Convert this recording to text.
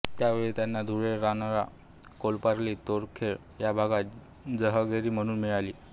त्यावेळी त्यांना धुळे रनाळा कोपर्ली तोरखेळ हा भाग जहागिरी म्हणून मिळाला